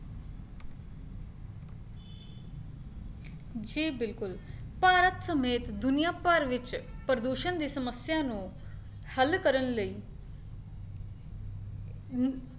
ਜੀ ਬਿਲਕੁਲ ਭਾਰਤ ਸਮੇਂ ਦੁਨੀਆਂ ਭਰ ਵਿੱਚ ਪ੍ਰਦੂਸ਼ਣ ਦੀ ਸਮੱਸਿਆ ਨੂੰ ਹੱਲ ਕਰਨ ਲਈ ਹੁੰ